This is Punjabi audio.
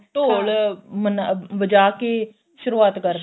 ਢੋਲ ਬਜਾਕੇ ਸ਼ੁਰੁਆਤ